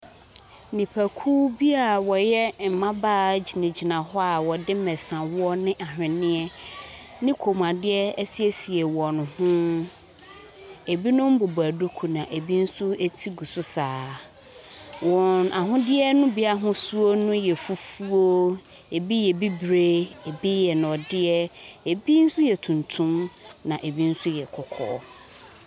Nipakuo bi a wɔyɛ mmabaawa gyinagyina hɔ a wɔde mmesawoɔ ne nhweneɛ ne kɔnmuadeɛ asiesie wɔn ho. Ɛbinom bobɔ duku, na ɛbi nso ti gu so saa ara. Wɔn ahodeɛ no bi ahosuo no yɛ fufuo, ɛbi yɛ bibire. Ɛbi yɛ nnɔteɛ, abi nso yɛ tuntum, na ɛbi nso yɛ kɔkɔɔ.